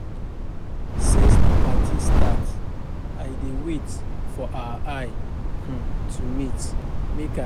Since the party start I dey wait for our eye um to meet make I apologize but dey no wan meet